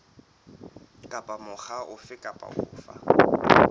kapa mokga ofe kapa ofe